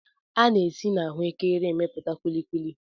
A na-esi n'ahụekere emepụta kulikuli.